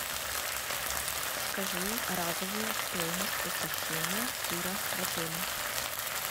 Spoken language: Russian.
скажи разовую стоимость посещения тира в отеле